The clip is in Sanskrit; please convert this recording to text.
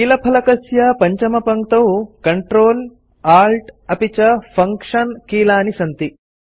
कीलफलकस्य पञ्चमपङ्क्तौ Ctrl Alt अपि च फंक्शन कीलानि सन्ति